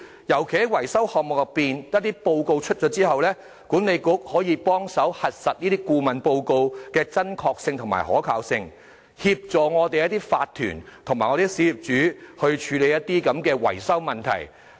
尤其是在維修項目報告擬定後，管理局可以幫助核實這些顧問報告的真確性和可信性，協助法團和小業主處理維修問題。